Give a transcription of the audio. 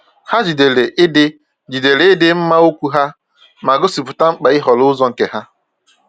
Ha jidere ịdị jidere ịdị mma okwu ha, ma gosipụta mkpa ịhọrọ ụzọ nke ha.